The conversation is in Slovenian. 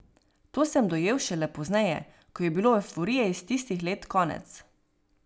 To sem dojel šele pozneje, ko je bilo evforije iz tistih let konec.